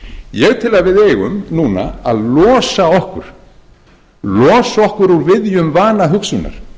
ég tel að við eigum núna að losa okkur úr viðjum vana hugsunar